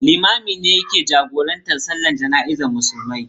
Limamin ne yake jagorantar Sallar Jana'izar Musulmai.